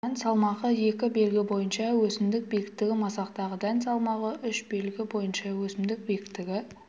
дән салмағы екі белгі бойынша өсімдік биіктігі масақтағы дән салмағы үш белгі бойынша өсімдік биіктігі